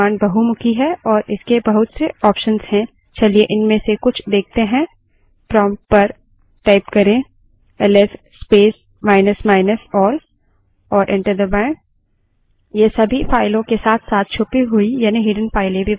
ls command बहुमुखी है और इसके बहुत से options हैं चलिए इनमें से कुछ देखते हैं prompt पर ls space minus minus all type करें और enter दबायें